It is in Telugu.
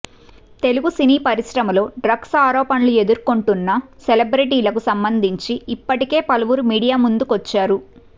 తెలుగు సినీ పరిశ్రమలో డ్రగ్స్ ఆరోపణలు ఎదుర్కొంటున్న సెలబ్రిటీలకు సంబంధించి ఇప్పటికే పలువురు మీడియా ముందుకొచ్చారు